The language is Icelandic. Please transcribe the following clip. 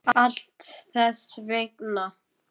Allt þess vegna.